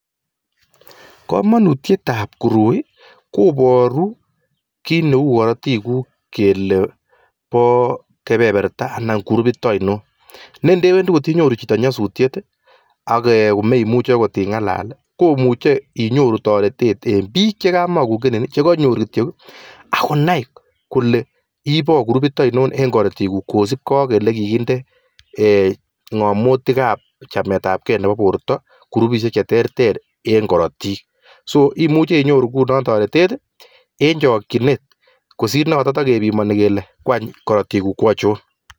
Kamanutyet ab koroi koboru kii neinai Kele Bo [groupit] ainon yekenyoru nyasut kenai eng sipitalit Kele moche karotik achon